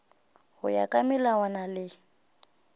go ya ka melawana le